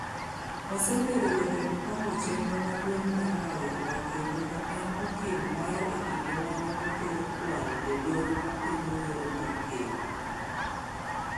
Osebedo jatend pango chenro maduong’ mar Raila kendo ne en okil mare e kinde ma ne otero kwayo e doho ma pingo yiero mar Ker.